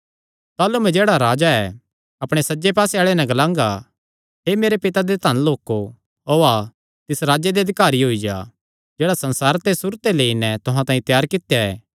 ताह़लू मैं जेह्ड़ा राजा ऐ अपणे सज्जे पास्से आल़ेआं नैं ग्लांगा हे मेरे पिता दे धन लोको ओआ तिस राज्जे दे अधिकारी होई जा जेह्ड़ा संसारे दे सुरू ते लेई नैं तुहां तांई त्यार कित्या ऐ